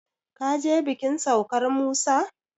ka je bikin saukar Musa?